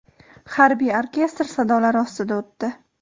harbiy orkestr sadolari ostida o‘tdi.